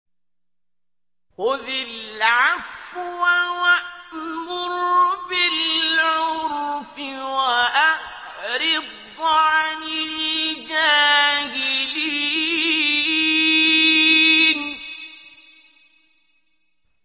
خُذِ الْعَفْوَ وَأْمُرْ بِالْعُرْفِ وَأَعْرِضْ عَنِ الْجَاهِلِينَ